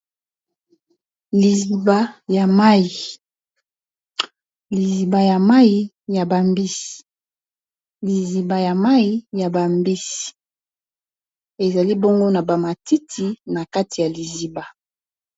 liziba ya mai ya bambisi ezali bongo na bamatiti na kati ya liziba